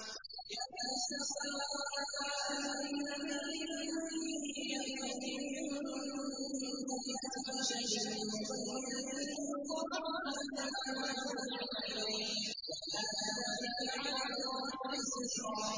يَا نِسَاءَ النَّبِيِّ مَن يَأْتِ مِنكُنَّ بِفَاحِشَةٍ مُّبَيِّنَةٍ يُضَاعَفْ لَهَا الْعَذَابُ ضِعْفَيْنِ ۚ وَكَانَ ذَٰلِكَ عَلَى اللَّهِ يَسِيرًا